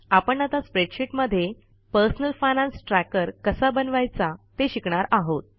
आपण आता स्प्रेडशीटमध्ये पर्सनल फायनान्स ट्रॅकर कसा बनवायचा ते शिकणार आहोत